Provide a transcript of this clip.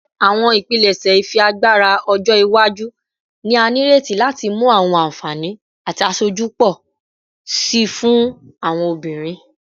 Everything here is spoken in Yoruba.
Awọn ipilẹṣẹ ifiagbara ọjọ iwaju ni a nireti lati mu awọn anfani ati aṣoju pọ si fun awọn obinrin